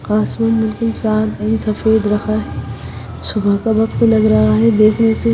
आसमान बिलकुल साफ एंड सफेद रहा है सुबह का वक्त लग रहा है देखने से।--